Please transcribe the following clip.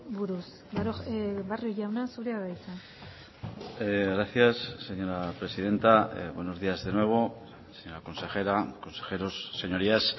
buruz barrio jauna zurea da hitza gracias señora presidenta buenos días de nuevo señora consejera consejeros señorías